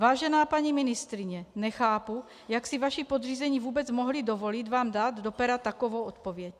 Vážená paní ministryně, nechápu, jak si vaši podřízení vůbec mohli dovolit vám dát do pera takovou odpověď.